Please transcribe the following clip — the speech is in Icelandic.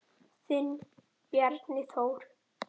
Þinn Bjarni Þór.